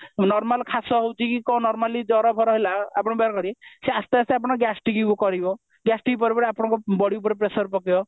normal ଖାସ ହେଉଛି କି କଣ normally ଜର ଫର ହେଲା ସେ ଆସ୍ତେ ଆସ୍ତେ ଅପଙ୍କୁ gastric କରିବ gastric ପରେ ପରେ ଆପଣଙ୍କର body ଉପରେ pressure ପକେଇବ